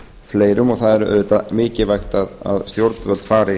fleirum og það er auðvitað mikilvægt að stjórnvöld fari